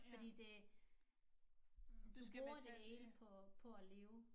Fordi det du skal betale på på at leve